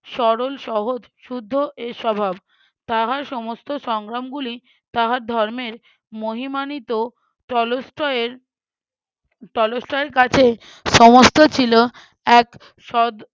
সরল সহজ শুদ্ধ এ স্বভাব। তাহার সমস্ত সংগ্রামগুলি তাহার ধর্মের মহিমানিত টলস্টয়ের টলস্টয়ের কাছে সমস্ত ছিল এক সদ~